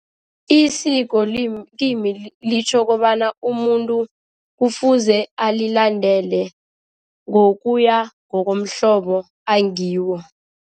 Isiko kimi litjho kobana umuntu kufuze alilandele ngokuya ngokomhlobo angiwo.